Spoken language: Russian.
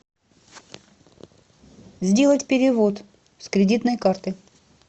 сделать перевод с кредитной карты